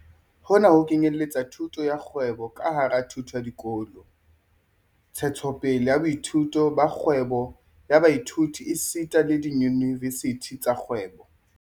Hona ho kenyeletsa thuto ya kgwebo ka hara thuto ya dikolo, ntshetsopele ya boithuti ba kgwebo ya baithuti esita le diyunivesithi tsa kgwebo.